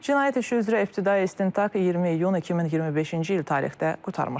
Cinayət işi üzrə ibtidai istintaq 20 iyun 2025-ci il tarixdə qurtarmışdır.